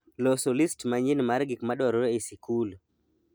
loso list manyien mar gik madwarore e sikul